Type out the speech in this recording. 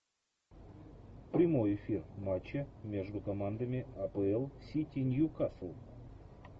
прямой эфир матча между командами апл сити ньюкасл